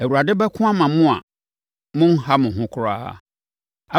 Awurade bɛko ama mo a monha mo ho koraa!”